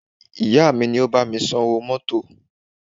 Ìyá mi ni ó bá mi san owó mọ́tọ̀.